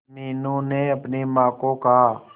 मीनू ने अपनी मां को कहा